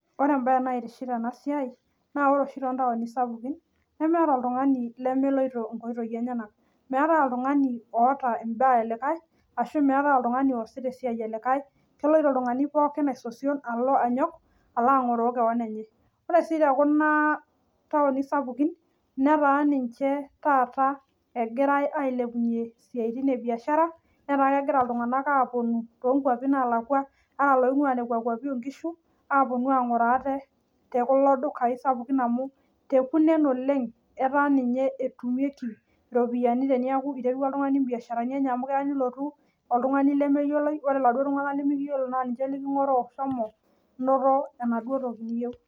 Ore ebae naitiship tena siai naa ore too taoni sapuki nemeeta oltungani lemeloito nkoitoi enyenak, meetae oltungani oota ebae e likae Ashu meetae oltungani oosita esiai e likae, keloito oltungani pooki aisosion alo anyok alo angoroo kewon enye ore te kuna taoni sapuki netaa ninche taata egirae ailepunyie siatin e biashara netaa kegira iltunganak aapuonu too nkuapi naalaku apounu angoroo ate te kula dukai sapuki amu te kunen etumi ropiyiani amu keya nelotu oltungani lemeyioloi ore laduoo tunganak lemiyiolo naa niche likingoroo